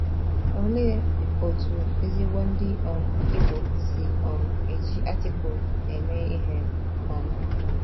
Olee otú ezigbo Ndị um Igbo si um eji Artikụlụ eme ihe? um